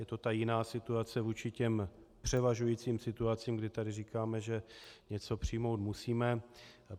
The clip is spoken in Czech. Je to ta jiná situace vůči těm převažujícím situacím, kdy tady říkáme, že něco přijmout musíme.